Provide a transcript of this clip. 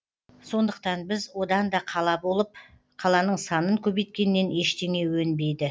сондықтан біз одан да қала болып қаланың санын көбейткеннен ештеңе өнбейді